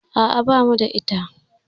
A'a, bamu da ita